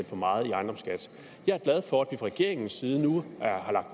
for meget i ejendomsskat jeg er glad for at regeringens side nu